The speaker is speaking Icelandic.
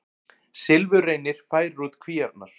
Silfurreynir færir út kvíarnar